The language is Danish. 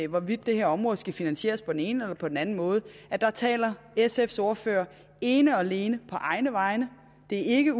hvorvidt det her område skal finansieres på den ene eller på den anden måde taler sfs ordfører ene og alene på egne vegne det er ikke